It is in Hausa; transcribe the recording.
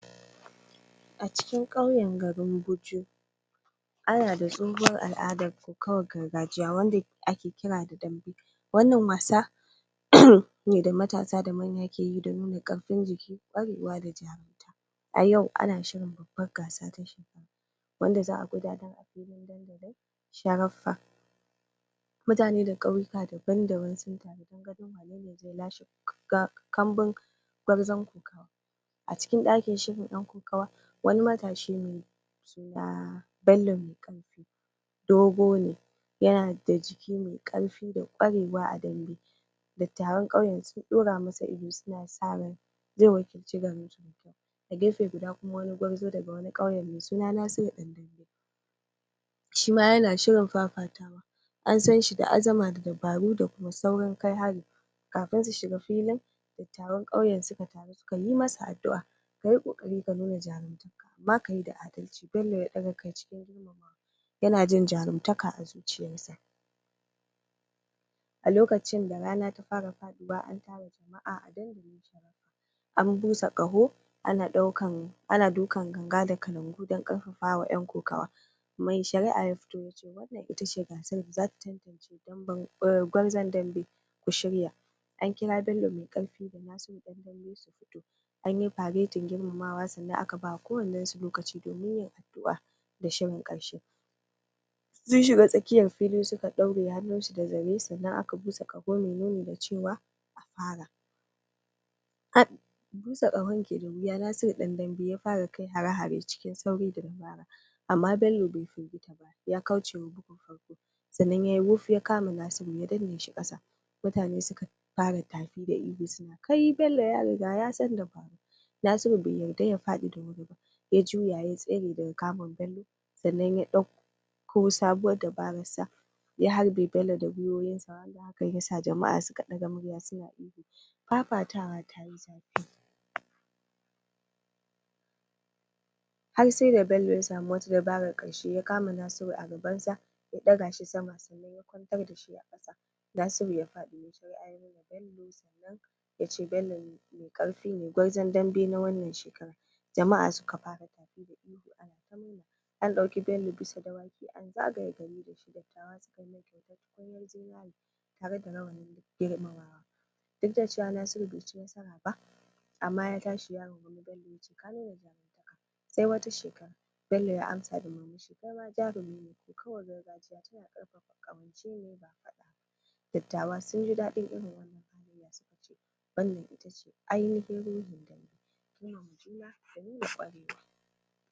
acikin ƙauyen garin guju ana da ɗunbin al'adan kokawar gargajiya wanda kira da dambe wannan wasa da matasa da manya keyi do nuna karfin jiki kwarewa da jarumta a yau ana shirin babbar gasa wanda za'a gudanar a filin dandali sharaf'fa mutane daga kauyuka daban daban sun taru don ganin wanene lashe kk kambun gurzon kokawa acikin dakin shirin dan kokawa wani matashi ne mai suna bello dogo ne yana da jiki mai ƙarfi da ƙwarewa a dambe dattawan kauye sun daura masa zai wakilci garinsu a gefe guda kuma wani gwarzo daga wani kauye shima yana shirin fafatawa an sanshi da azama da dabaru da saurin kai hari kafin su shiga filin da taron kauyen sukataru suka yi masa addu'a kayi kokari ka nuna jaruma ba kayi da bello ya daga kai yana jin jarun taka a zuciyarshi a lokacin da rana ta fara fadi bayan an tara jama'a an busa ƙaho ana daukan ana dukan ganga da kalangu don ƙarfafawa yan kokawa mai shari'a ya fito yace ita ce gasar tantance gwarzon dambe ku shirya an kira bello maiƙarfi anyi faretin girmamawa sannan aka bawa kowannensu lokaci domin yin adu'o'i addu'a da shirin ƙarshe sun shiga tsakiyar fili suka daure hannunsu da zare sannan aka busa ƙaho mai nuni da cewa an fara busa ƙahon ke da wuya nasiru dan dambe ya fara kai hare-hare cikin sauri da dabara amma bello ya kaucewa dukan farko sannan yayi wuf ya kama nasiru ya danneshi ƙasa mutane suka tafi da ihu suna ihu kai bello yariga dabara nasiru bai yadda ya fadi da wuri ba ya juya ya tsare daga kamu bello sannan ko sabowar dabarar sa ya harbe bello da gwuiwoyinsa haka yasa jama'a suka ƙwafatawa har sai da bello ya samu wata dabarar qarshe ya kama nasiru a gabansa ya ɗaga shi sama sannan ya kwan tar dashi a kasa nasiru ya faɗi mai shari'a ya daga bello bello mai karfi ne gwarzon dambe na wannan shekara jama'a suka fara tafi ana ta ihu ana murna an dauki bello bisa dawaki an zagaye gari dattawa suka yi masa kyautar tukunyar zinare tare da rawanin girmamawa duk da cewa nasiru bai ciba amma ya tashi ya rungumi bello yace ka nuna jaruntaka sai wata shekara bello ya amsa da murmushi kaima jarumi ne kaukawar gargajiya tana karfafa kawance ne ba fada ba dattawa sunji dadin wannan itace aini hin